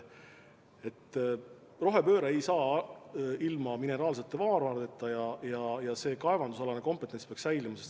Rohepööre ei saa toimuda ilma mineraalsete maavaradeta ja kaevandamisalane kompetents peaks säilima.